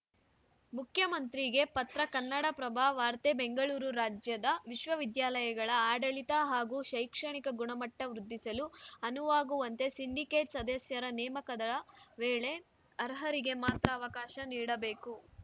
ಮುಖ್ಯಮಂತ್ರಿಗೆ ಪತ್ರ ಕನ್ನಡಪ್ರಭ ವಾರ್ತೆ ಬೆಂಗಳೂರು ರಾಜ್ಯದ ವಿಶ್ವವಿದ್ಯಾಲಯಗಳ ಆಡಳಿತ ಹಾಗೂ ಶೈಕ್ಷಣಿಕ ಗುಣಮಟ್ಟವೃದ್ಧಿಸಲು ಅನುವಾಗುವಂತೆ ಸಿಂಡಿಕೇಟ್‌ ಸದಸ್ಯರ ನೇಮಕದ ವೇಳೆ ಅರ್ಹರಿಗೆ ಮಾತ್ರ ಅವಕಾಶ ನೀಡಬೇಕು